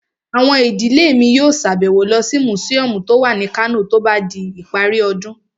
Àwọn ìdílé mi yóò sàbẹ̀wo lọ sí mùsíọ̀mù tó wà ní Kano tó bá di ìparí ọdún